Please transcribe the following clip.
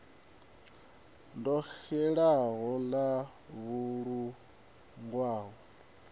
ḓo xelaho ḽa vusuludzwa ho